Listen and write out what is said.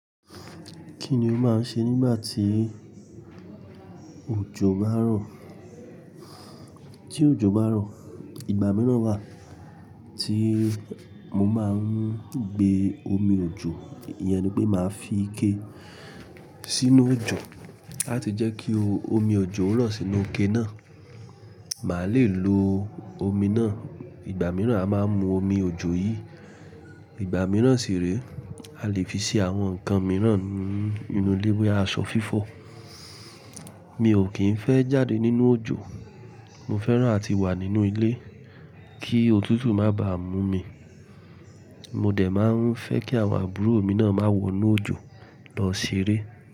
Kí ni o máa ń ṣe nígbà tí òjò bá rọ̀? Tí òjò bá rọ̀, ìgbà mìíràn wà tí mo máa ń gbé omi òjò. Ìyẹn ni pé màá fi ike sínú òjò láti jẹ́ kí omi òjò rọ̀ sínú ike náà. Màá lè lo omi náà. Ìgbà mìíràn a máa mú omi òjò yìí. Ìgbà mìíràn sì rí, a lè fi ṣe àwọn nǹkan mìíràn nínú ilé wé aṣọ fífọ̀. Mi ò kín fẹ́ jáde nínú òjò. Mo fẹ́ràn àti wà nínú ilé kí òtútù má bá mú mi. Mo dẹ̀ máa ń fẹ́ kí àwọn àbúrò mi náà má wọnú òjò lọ ṣeré.